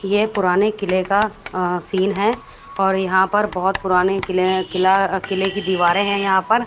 ये पुराने किले का अ सीन हैं और यहाँ पर बहोत पुराने किले किला किले की दीवारें हैं यहाँ पर--